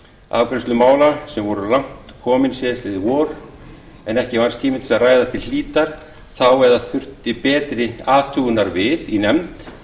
afgreiðslu mála sem voru langt komin síðastliðið vor en ekki vannst tími til að ræða til hlítar þá eða þurftu betri athugunar við í nefnd